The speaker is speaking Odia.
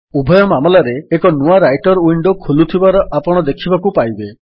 ଉଭୟ ମାମଲାରେ ଏକ ନୂଆ ରାଇଟର୍ ୱିଣ୍ଡୋ ଖୋଲୁଥିବାର ଆପଣ ଦେଖିବାକୁ ପାଇବେ